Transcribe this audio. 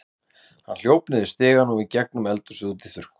Hann hljóp niður stigann og í gegnum eldhúsið út í þurrkhús.